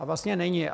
A vlastně není.